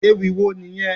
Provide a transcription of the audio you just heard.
Ewì wo nìyẹn?